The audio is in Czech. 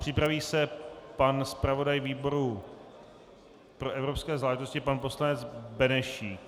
Připraví se pan zpravodaj výboru pro evropské záležitosti, pan poslanec Benešík.